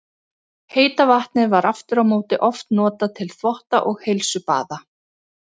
Heita vatnið var aftur á móti oft notað til þvotta og heilsubaða.